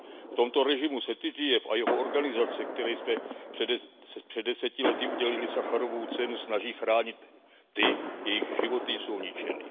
V tomto režimu se Titjev a jeho organizace, které jsme před deseti lety udělili Sacharovovu cenu, snaží chránit ty, jejichž životy jsou ničeny.